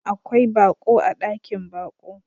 Akwai baƙo a ɗakin baƙo.